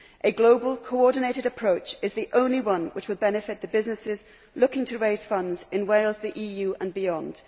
A global, coordinated approach is the only one which would benefit the businesses looking to raise funds in Wales, the EU and beyond.